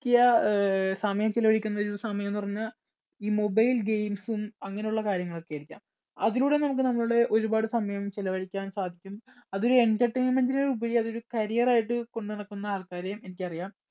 ക്കിയ സമയം ചെലവഴിക്കുന്ന ഒരു സമയം എന്നു പറഞ്ഞാൽ ഈ mobile games ഉം അങ്ങനെയുള്ള കാര്യങ്ങളൊക്കെ ആയിരിക്കാം. അതിലൂടെ നമുക്ക് നമ്മുടെ ഒരുപാട് സമയം ചെലവഴിക്കാൻ സാധിക്കും. അതൊരു entertainment ല്‍ ഉപരി അതൊരു carrier ആയിട്ട് കൊണ്ട് നടക്കുന്ന ആൾക്കാരേം എനിക്കറിയാം.